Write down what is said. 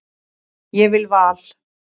Ég vil Val.